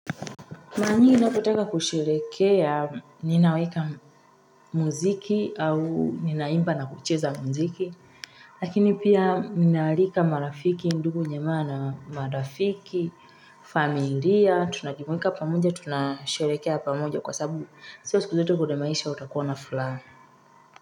Mara nyingi ninapotaka kusherehekea, ninaweka muziki au ninaimba na kucheza muziki. Lakini pia ninahalika marafiki, ndugu jamaa, na marafiki, familia, tunajumuika pamoja tunashelehekea pamoja kwa sababu. Sio siku zote kwa maisha utakuwa na fulaha.